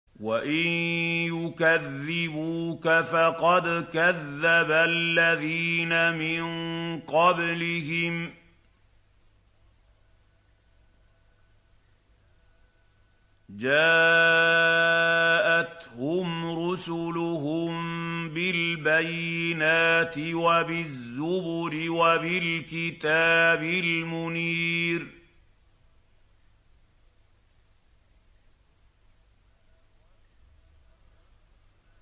وَإِن يُكَذِّبُوكَ فَقَدْ كَذَّبَ الَّذِينَ مِن قَبْلِهِمْ جَاءَتْهُمْ رُسُلُهُم بِالْبَيِّنَاتِ وَبِالزُّبُرِ وَبِالْكِتَابِ الْمُنِيرِ